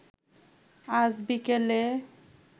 আজ বিকেলে